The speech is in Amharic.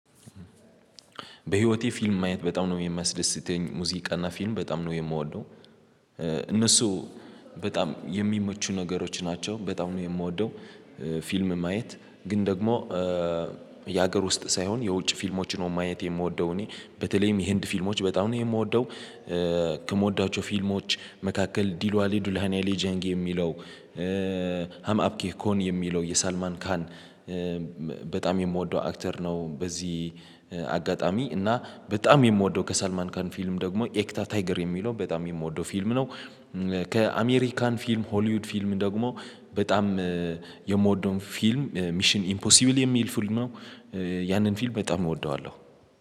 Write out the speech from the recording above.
በህይወቴ ፊልም ማየት በጣም ነው የሚያስደስተኝ ሙዚቃና ፊልም በጣም ነው የምወደው እነሱ በጣም የሚመቹ ነገሮች ናቸው በጣም ነው የምወደው። ፊልም ማየት ግን ደግሞ የሀገር ውስጥ ሳይሆን የውጭ ፊልሞችን ነው ማየት የምወደው እኔ በተለይም የህንድ ፊልሞች በጣም ነው የምወደው። ከምወዳቸው ፊልሞች መካከል ዲሏሊ ዱላኒያ ሊጀንግ የሚለው ሀማብኪ ኮን የሚለው የሳልማን ካሀን በጣም የምወደው አክተር ነው በዚህ አጋጣሚ እና በጣም የምወደው ከሳልማንካን ፊልም ደግሞ ኤክታ ታይገር የሚለው በጣም የምወደው ፊልም ነው። ፊልም ሆሊውድ ፊልም ደግሞ በጣም የምወደውን ፊልም ሚሽን ኢምፖሲብል የሚል ፊልም ነው። ያንን ፊልም በጣም እወደዋለሁ።